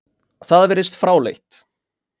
Það virðist fráleitt.